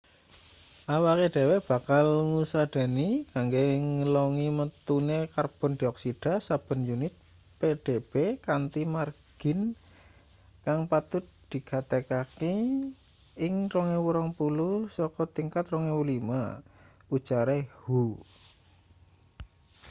"awake dhewe bakal ngusadani kanggo ngelongi metune karbon dioksida saben unit pdb kanthi margin kang patut digatekaki ing 2020 saka tingkat 2005 ujare hu.